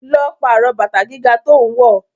Lọ pàrọ̀ bàtà gíga tó ń wọ.